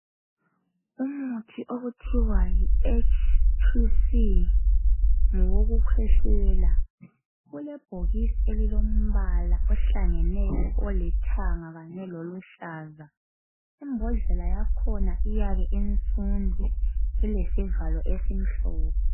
Umuthi okuthiwa yiHTC ngowokukhwehlela, ulebhokisi elilombala ohlangeneyo olithanga kanye loluhlaza. Imbodlela yakhona iyabe insundu ilesivalo esimhlophe.